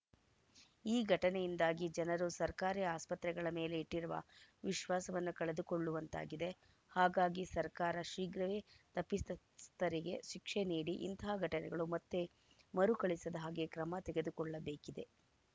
ಈ ಘಟನೆಯಿಂದಾಗಿ ಜನರು ಸರ್ಕಾರಿ ಆಸ್ಪತ್ರೆಗಳ ಮೇಲೆ ಇಟ್ಟಿರುವ ವಿಶ್ವಾಸವನ್ನು ಕಳೆದುಕೊಳ್ಳುವಂತಾಗಿದೆ ಹಾಗಾಗಿ ಸರ್ಕಾರ ಶೀಘ್ರವೇ ತಪ್ಪಿ ಸ್ ತಸ್ಥರಿಗೆ ಶಿಕ್ಷೆ ನೀಡಿ ಇಂತಹ ಘಟನೆಗಳು ಮತ್ತೆ ಮರುಕಳಿಸದ ಹಾಗೇ ಕ್ರಮ ತೆಗೆದುಕೊಳ್ಳಬೇಕಿದೆ